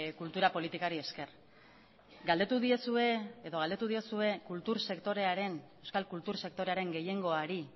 kultura politikari esker galdetu diezue edo galdetu diozue kultur sektorearen euskal kultur sektorearen gehiengoari